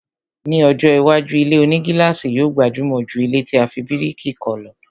Ni ọjọ́ iwájú, ilé-onígílàsì yóò gbajúmọ̀ jù ilẹ́ tí a fi bíríkì kọ́ lọ